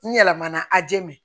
N yɛlɛmana aje me